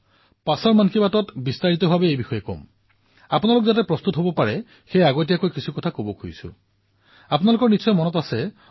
অৱশ্যে মই আগন্তুক মন কী বাতত ইয়াক বিস্তাৰিত ৰূপত নিশ্চয়কৈ কম কিন্তু আজি মই অলপ আগতীয়াকৈ এইবাবেই কবলৈ বিচাৰিছো যাতে আপোনালোকে প্ৰস্তুত হব পাৰে